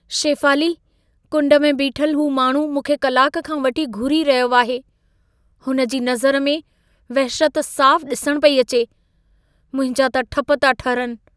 शेफ़ाली, कुंड में बीठल हू माण्हू मूंखे कलाक खां वठी घूरी रहियो आहे। हुनजी नज़र में, वहशत साफ़ु ॾिसण पेई अचे। मुंहिंजा त ठप था ठरनि।